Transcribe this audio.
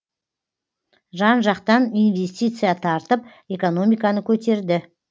жан жақтан инвестиция тартып экономиканы көтерді